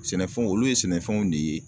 Sɛnɛfɛnw olu ye sɛnɛfɛnw de ye